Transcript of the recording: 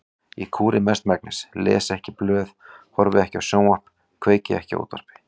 Ég kúri mestmegnis, les ekki blöð, horfi ekki á sjónvarp, kveiki ekki á útvarpi.